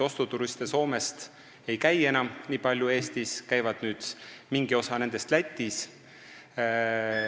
Soomest ei tule enam Eestisse nii palju ostuturiste, mingi osa nendest käib nüüd Lätis.